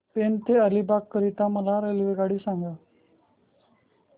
पेण ते अलिबाग करीता मला रेल्वेगाडी सांगा